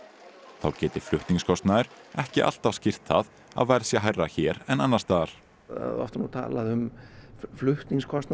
þá geti flutningskostnaður ekki alltaf skýrt það að verð sé hærra hér en annars staðar oft er talað um flutningskostnað